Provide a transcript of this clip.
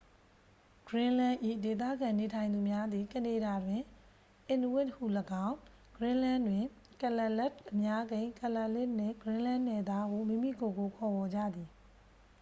greenland ၏ ဒေသခံနေထိုင်သူများသည် ကနေဒါတွင် inuit ဟူလည်းကောင်း၊ greenlandတွင် kalaalleq အများကိန်း kalaallitနှင့် greenland နယ်သားဟု မိမိကိုယ်ကို ခေါ်ဝေါ်ကြသည်။